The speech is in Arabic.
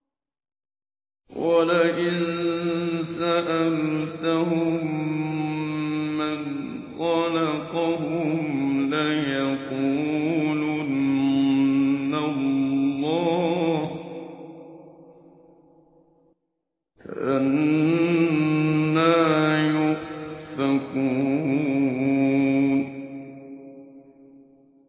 وَلَئِن سَأَلْتَهُم مَّنْ خَلَقَهُمْ لَيَقُولُنَّ اللَّهُ ۖ فَأَنَّىٰ يُؤْفَكُونَ